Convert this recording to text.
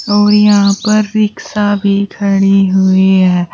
और यहां पर रिक्शा भी खड़ी हुई है।